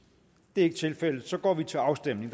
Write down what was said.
det er ikke tilfældet og så går vi til afstemning